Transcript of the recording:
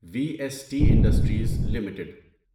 we S T industries limited